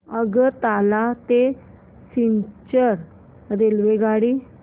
आगरतळा ते सिलचर रेल्वेगाडी